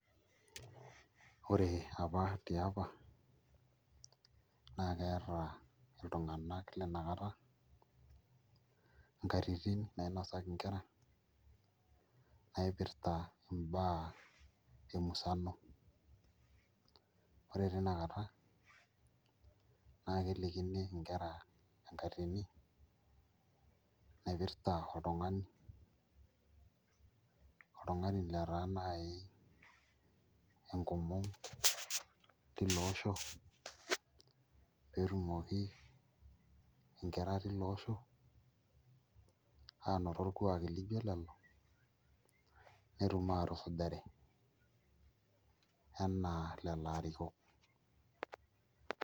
Ore apa tiapa naa keeta iltung'anak lina kata inkatitin nainosaki nkera naipirta imbaa emusano, ore tina kata naa kelikini nkera enkatini naipirta oltung'ani, oltung'ani lotaa naai enkomon tilo osho pee etumoki nkera tilo osho aanoto orkuaki lijio ilo netum aatusujare enaa leleo arikok.